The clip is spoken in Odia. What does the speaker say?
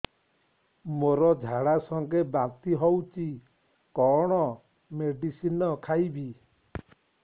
ମୋର ଝାଡା ସଂଗେ ବାନ୍ତି ହଉଚି କଣ ମେଡିସିନ ଖାଇବି